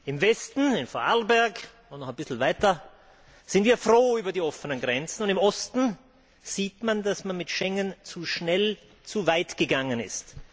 Im Westen, in Voralberg und noch ein bisschen weiter, sind wir froh über die offenen Grenzen, und im Osten sieht man, dass man mit Schengen zu schnell zu weit gegangen ist.